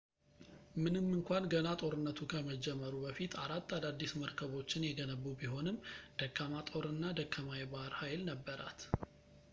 ምንም እንኳን ገና ጦርነቱ ከመጀመሩ በፊት አራት አዳዲስ መርከቦችን የገነቡ ቢሆንም ደካማ ጦር እና ደካማ የባህር ኃይል ነበራት